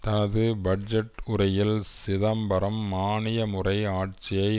தனது பட்ஜெட் உரையில் சிதம்பரம் மானிய முறை ஆட்சியை